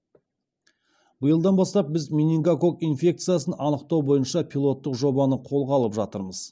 биылдан бастап біз менингококк инфекциясын анықтау бойынша пилоттық жобаны қолға алып жатырмыз